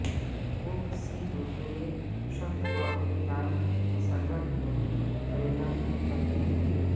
وہ کسی دوسرے شخص کو اپنی رائے مسلط نہیں کرے گا کبھی نہیں